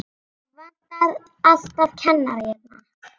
Það vantar alltaf kennara hérna.